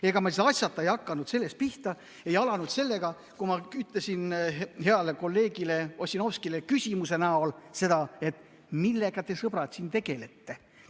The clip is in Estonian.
Ega ma asjata ei hakanud pihta sellest, ei alustanud sellest, kui ma ütlesin heale kolleegile Ossinovskile küsimuse näol seda, et millega te, sõbrad, tegelete.